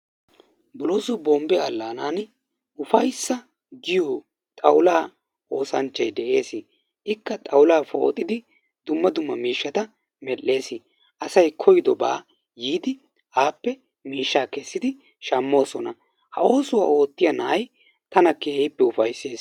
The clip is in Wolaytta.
Bolooso bombbe alaanani ufayssa giyo xawulaa oosanchchay de'ee. Ikka xawulaa poxxidi dumma dumma miishshata medhdhees. Asay koyidobaa yiidi appe mishshaa kessidi shammoosona. Ha oosuwa oottiya na'ay tana keehiippe ufayssees.